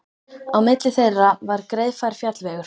Á milli þeirra var greiðfær fjallvegur.